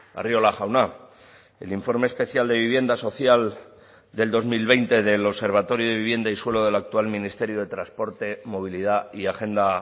arriola jauna el informe especial de vivienda social del dos mil veinte del observatorio de vivienda y suelo del actual ministerio de transporte movilidad y agenda